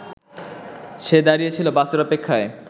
সে দাঁড়িয়েছিল বাসের অপেক্ষায়